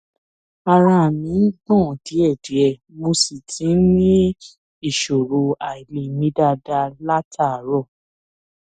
ara mi ń gbọn díẹdíẹ mo sì ti ń ní ìṣòro àìlè mí dáadáa látàárọ